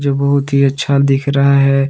जो बहुत ही अच्छा दिख रहा है।